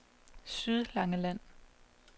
Sydlangeland